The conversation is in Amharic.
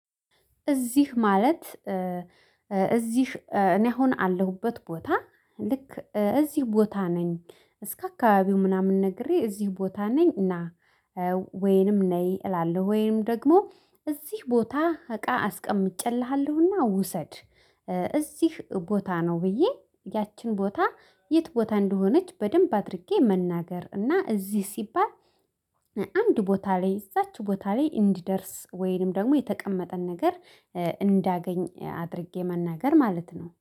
እዚህ ማለት እዚህ እኔ አሁን ያለሁበት ቦታ ልክ እዚህ ቦታ ነኝ እስከ አካባቢው ምናምን ነግሬ እዚህ ቦታ ነኝ እና ወይንም ነይ እላለው ወይም ደግሞ እዚህ ቦታ እቃ አስቀምጬልሃለሁና ውሰድ። እዚህ ቦታ ነው ብዬ ያችን ቦታ የት ቦታ እንደሆነች በደንብ አድርጌ መናገር እና እዚህ ሲባል። አንድ ቦታ ላይ እዛች ቦታ ላይ እንዲደርስ ወይንም ደግሞ የተቀመጠን ነገር እንዳገኝ አድርጌ መናገር ማለት ነው